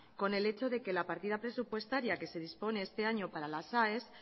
con el hecho de que la partida presupuestaria que se dispone este año para las aes